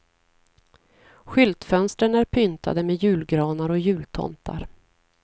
Skyltfönstren är pyntade med julgranar och jultomtar.